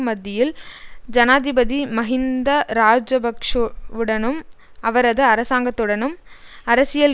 மத்தியில் ஜனாதிபதி மஹிந்த இராஜபக்ஷவுடனும் அவரது அரசாங்கத்துடனும் அரசியல்